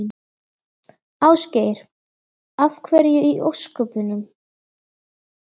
Ásgeir: Af hverju í ósköpunum?